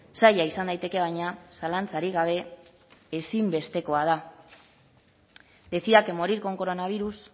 zaila izan daiteke baina zalantzarik gabe ezinbestekoa da decía que morir con coronavirus